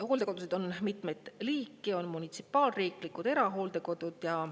Hooldekodusid on mitmeid liike: on munitsipaal‑, riiklikud ja erahooldekodud.